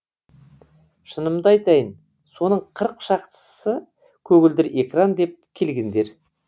шынымды айтайын соның қырық шақтысы көгілдір экран деп келгендер